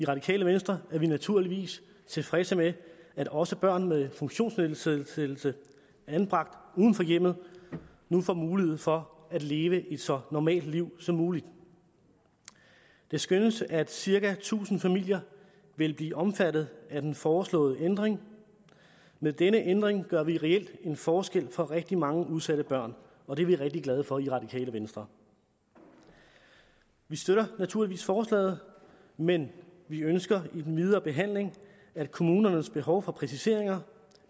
radikale venstre er vi naturligvis tilfredse med at også børn med funktionsnedsættelse anbragt uden for hjemmet nu får mulighed for at leve et så normalt liv som muligt det skønnes at cirka tusind familier vil blive omfattet af den foreslåede ændring med denne ændring gør vi reelt en forskel for rigtig mange udsatte børn og det er vi rigtig glade for i det radikale venstre vi støtter naturligvis forslaget men vi ønsker i den videre behandling at kommunernes behov for præciseringer